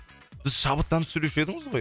бір шабыттанып сөйлеуші едіңіз ғой